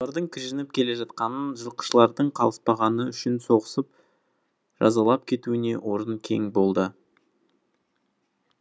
олардың кіжініп келе жатқанын жылқышылардың қалыспағаны үшін соғысып жазалап кетуіне орын кең болды